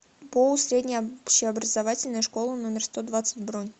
боу средняя общеобразовательная школа номер сто двадцать бронь